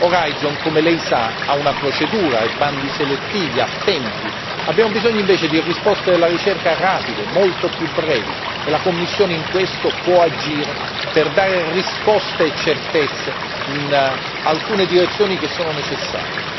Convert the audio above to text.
Orizzonte 2020, come Lei sa, ha una procedura, ha i bandi selettivi, ha tempi, abbiamo bisogno invece di risposte della ricerca rapide, molto più brevi e la Commissione in questo può agire per dare risposte e certezze in alcune direzioni che sono necessarie.